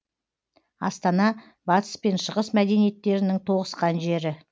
астана батыс пен шығыс мәдениеттерінің тоғысқан жері